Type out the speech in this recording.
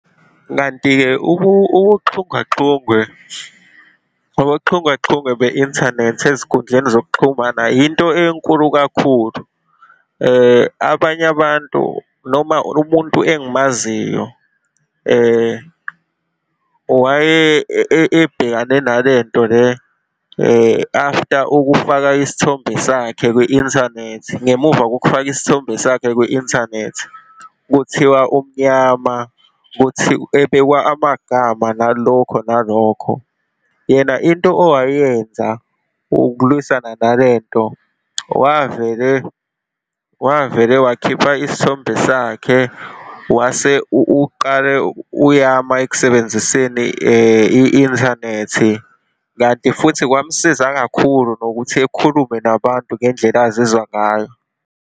Kanti-ke ukuxhungaxhungwe, ubuxhungwexhungwe be-inthanethi ezinkundleni zokuxhumana yinto enkulu kakhulu. Abanye abantu, noma umuntu engimaziyo ebhekane nalento le after ukufaka isithombe sakhe kwi-inthanethi, ngemuva kokufaka isithombe sakhe kwi-Inthanethi, kuthiwa umnyama, ebekwa amagama, nalokho nalokho. Yena into owayenza ukulwisana nale nto, wavele, wavele wakhipha isithombe sakhe wase uqale uyama ekusebenziseni i-inthanethi kanti futhi kwamsiza kakhulu nokuthi ekhulume nabantu ngendlela azizwa ngayo.